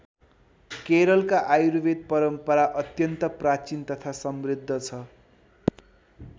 केरलका आयुर्वेद परम्परा अत्यन्त प्राचीन तथा समृद्ध छ।